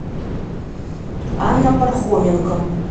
анна пархоменко